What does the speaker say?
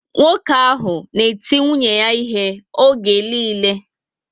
Nwoke ahụ na eti nwunye ya ihe oge niile